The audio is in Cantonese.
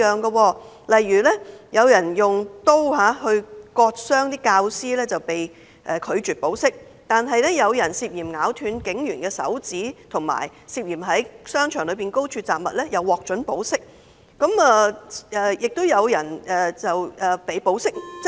舉例來說，有人用刀割傷教師被拒絕保釋，但有人涉嫌咬斷警員手指及涉嫌在商場內高空擲物則獲准保釋，更有人獲准保釋外遊。